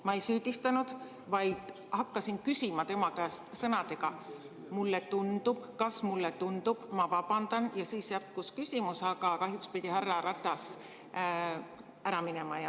Ma ei süüdistanud, vaid hakkasin küsima tema käest sõnadega "mulle tundub", "kas mulle tundub", "ma vabandan" ja siis järgnes küsimus, aga kahjuks pidi härra Ratas ära minema.